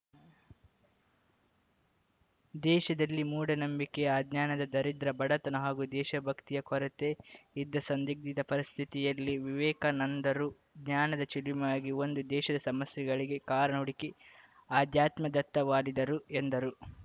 ದೇಶದಲ್ಲಿ ಮೂಢನಂಬಿಕೆ ಅಜ್ಞಾನದ ದಾರಿದ್ರ್ಯ ಬಡತನ ಹಾಗೂ ದೇಶಭಕ್ತಿಯ ಕೊರತೆ ಇದ್ದ ಸಂದಿಗ್ಧ ಪರಿಸ್ಥಿತಿಯಲ್ಲಿ ವಿವೇಕಾನಂದರು ಜ್ಞಾನದ ಚಿಲುಮೆಯಾಗಿ ಒಂದು ದೇಶದ ಸಮಸ್ಯೆಗಳಿಗೆ ಕಾರಣ ಹುಡುಕಿ ಆಧ್ಯಾತ್ಮದತ್ತ ವಾಲಿದರು ಎಂದರು